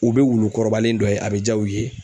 U bɛ wulu kɔrɔbalen dɔ ye a bɛ ja u ye